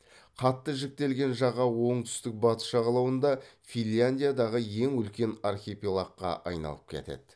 қатты жіктелген жаға оңтүстік батыс жағалауында финляндиядағы ең үлкен архипелагқа айналып кетеді